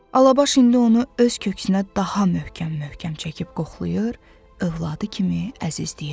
Alabaş indi onu öz köksünə daha möhkəm-möhkəm çəkib qoxlayır, övladı kimi əzizləyirdi.